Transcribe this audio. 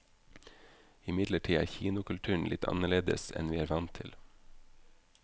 Imidlertid er kinokulturen litt anderledes enn vi er vant til.